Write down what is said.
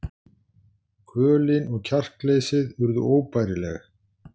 Kvölin og kjarkleysið urðu óbærileg.